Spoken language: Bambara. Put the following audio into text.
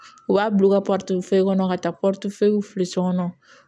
U b'a bila u ka kɔnɔ ka taa filiso kɔnɔ